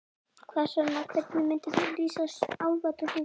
Hvað svona, hvernig myndir þú lýsa álfadrottningunni?